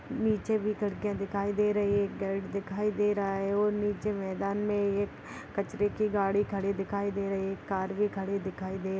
नीचे भी खिड़कियाँ दिखाई दे रही है एक गेट दिखाई दे रहा है और नीचे मैदान में एक कचरे की गाड़ी खड़ी दिखाई दे रही है एक कार भी खड़ी दिखाई दे --